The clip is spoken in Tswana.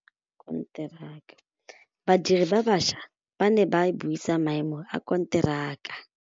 Badiri ba baša ba ne ba buisa maêmô a konteraka.